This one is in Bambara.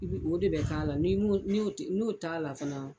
I bi o de bɛ k'a la, ni m'o n'o t'a la fana